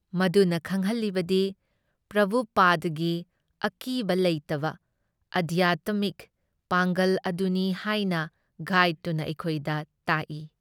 ꯃꯗꯨꯅ ꯈꯪꯍꯜꯂꯤꯕꯗꯤ ꯄ꯭ꯔꯚꯨꯄꯥꯗꯗꯒꯤ ꯑꯀꯤꯕ ꯂꯩꯇꯕ ꯑꯙ꯭ꯌꯥꯟꯇꯃꯤꯛ ꯄꯥꯡꯒꯜ ꯑꯗꯨꯅꯤ ꯍꯥꯏꯅ ꯒꯥꯏꯗꯇꯨꯅ ꯑꯩꯈꯣꯏꯗ ꯇꯥꯛꯏ ꯫